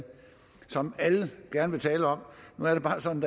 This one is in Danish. som er alle gerne vil tale om nu er det bare sådan